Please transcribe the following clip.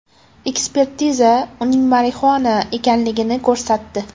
Ekspertiza uning marixuana ekanligini ko‘rsatdi.